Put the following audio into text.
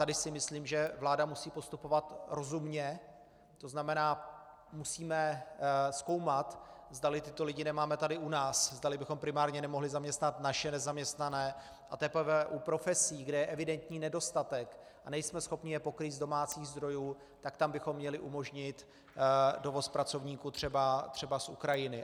Tady si myslím, že vláda musí postupovat rozumně, to znamená, musíme zkoumat, zdali tyto lidi nemáme tady u nás, zdali bychom primárně nemohli zaměstnat naše nezaměstnané a teprve u profesí, kde je evidentní nedostatek a nejsme schopni je pokrýt z domácích zdrojů, tak tam bychom měli umožnit dovoz pracovníků třeba z Ukrajiny.